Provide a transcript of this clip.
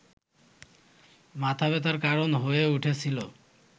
মাথাব্যথার কারণ হয়ে উঠেছিল